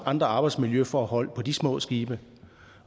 andre arbejdsmiljøforhold på disse små skibe